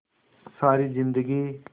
सारी जिंदगी